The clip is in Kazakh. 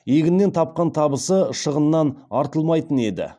егіннен тапқан табысы шығынынан артылмайтын еді